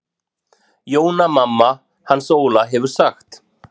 Jóna mamma hans Óla hefur sagt.